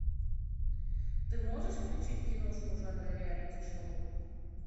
ты можешь включить киношку жанра реалити шоу